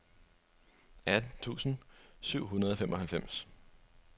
atten tusind syv hundrede og femoghalvfems